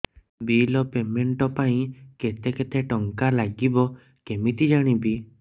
bill payment ପାଇଁ କେତେ କେତେ ଟଙ୍କା ଲାଗିବ କେମିତି ଜାଣିବି